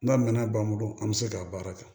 N'a mɛnn'an bolo an bɛ se k'a baara kɛ